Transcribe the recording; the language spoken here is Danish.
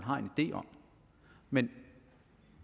har en idé om men